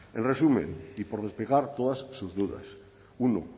en resumen y por despejar todas sus dudas uno